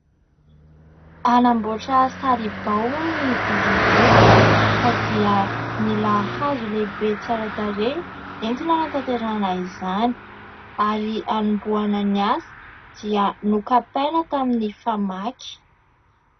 Hanamboatra saribao hono izy ireo ka dia nila hazo lehibe tsara tarehy entina hanatanterahana izany ; ary hanombohana ny asa dia nokapaina tamin'ny famaky.